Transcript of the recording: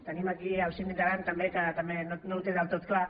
tenim aquí el síndic d’aran també que també no ho té del tot clar